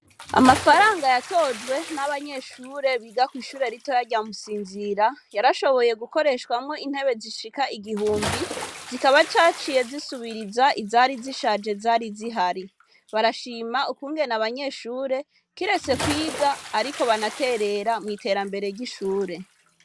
Amafaranga yatojwe, n'abanyeshure biga kw'ishure ritoya rya Musinzira, yarashoboye gukoreshwamwo intebe zishika igihumbi, zikaba zaciye zisubiriza izari zishaje zari zihari. Barashima ukungene abanyeshure, kiretse kwiga ahubwo banaterera, mw'iterambere ry'ishure.